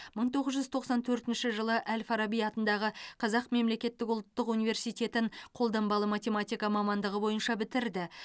мың тоғыз жүз тоқсан төртінші жылы әл фараби атындағы қазақ мемлекеттік ұлттық университетін қолданбалы математика мамандығы бойынша бітірді